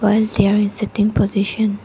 while there in sit in position.